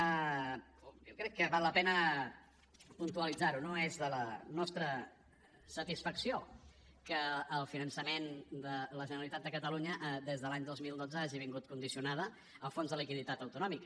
jo crec que val la pena puntualitzar ho no és de la nostra satisfacció que el finançament de la generalitat de catalunya des de l’any dos mil dotze hagi estat condicionada al fons de liquiditat autonòmic